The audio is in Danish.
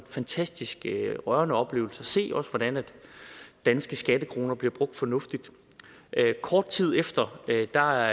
fantastisk rørende oplevelse at se hvordan danske skattekroner bliver brugt fornuftigt kort tid efter var der